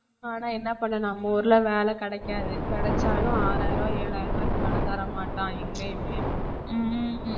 ஆனா என்ன பண்ண நம்ம ஊர்ல வேலை கிடைக்காது கிடைச்சாலும் ஆறாயிரம் ஏழாயிரம் ரூபாய்க்கு மேல தரமாட்டான் எங்கயுமே